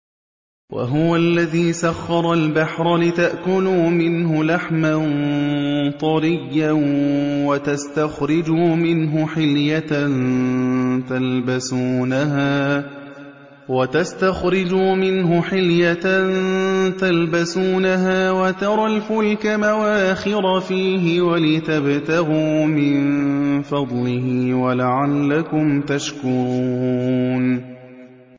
وَهُوَ الَّذِي سَخَّرَ الْبَحْرَ لِتَأْكُلُوا مِنْهُ لَحْمًا طَرِيًّا وَتَسْتَخْرِجُوا مِنْهُ حِلْيَةً تَلْبَسُونَهَا وَتَرَى الْفُلْكَ مَوَاخِرَ فِيهِ وَلِتَبْتَغُوا مِن فَضْلِهِ وَلَعَلَّكُمْ تَشْكُرُونَ